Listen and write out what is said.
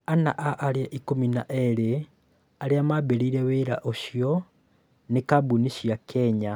Ana a arĩa ikũmi na eerĩ arĩa maambĩrĩirie wĩra ũcioa nĩ kambuni cia Kenya.